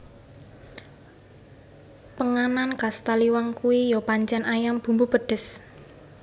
Penganan khas Taliwang kui yo pancen ayam bumbu pedes